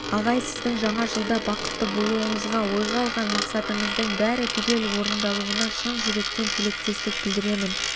ағай сіздің жаңа жылда бақытты болуыңызға ойға алған мақсатыңыздың бәрі түгел орындалуына шын жүректен тілектестік білдіремін